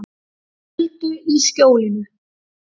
Til öldu í skjólinu